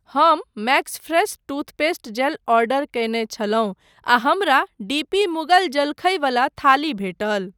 हम Maxfresh toothpaste gel order कयने छलहुँ आ हमरा डी पी मुगल जलखइवला थाली भेटल।